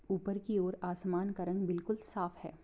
ऊपर की ओर आसमान का रंग बिल्कुल साफ है।